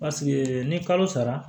Paseke ni kalo sara